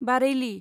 बारेइलि